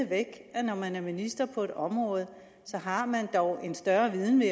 at når man er minister på et område har man dog en større viden